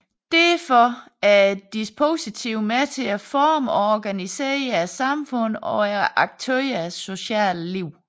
Derfor er et dispositiv med til at forme og organisere samfundet og aktørernes sociale liv